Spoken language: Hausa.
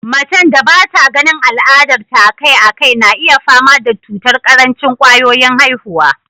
Macen da bata ganin al'adar ta a kai a kai na iya fama da cutar karancin kwayoyin haihuwa